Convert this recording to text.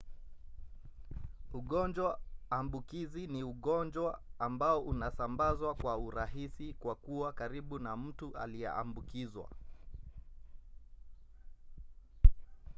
ugonjwa ambukizi ni ugonjwa ambao unasambazwa kwa urahisi kwa kuwa karibu na mtu aliyeambukizwa